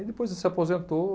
E depois ele se aposentou.